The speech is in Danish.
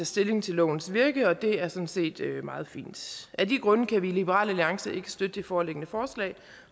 stilling til lovens virke og det er sådan set meget fint af de grunde kan vi i liberal alliance ikke støtte det foreliggende forslag